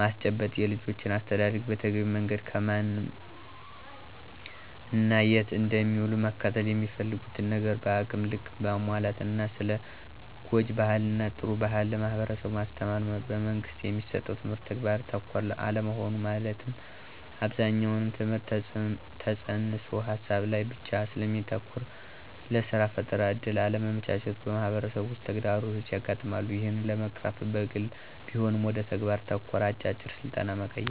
ማስጨበጥ። -የልጆችን አስተዳደግ በተገቢው መንገድ ከማን እና የት እንደሚውሉ መከታተል፣ የሚፈልጉትን ነገር በአቅም ልክ ማሟላት እና ስለ ጉጅ ባህል እና ጥሩ ባህል ለማህበረሠቡ ማስተማር። - በመንግስት የሚሠጠው ትምህርት ተግባር ተኮር አለመሆን መለትም አብዛኛው ትምህርት ተፅንስ ሀሳብ ላይ ብቻ ስለሚያተኩር ለስራ ፈጠራ እድል አለማመቻቸቱ በማህበረሠቡ ውስጥ ተግዳሮቶች ያጋጥማሉ። ይህን ለመቅረፍ በግልም ቢሆን ወደ ተግባር ተኮር አጫጭር ስልጠና መቀየር።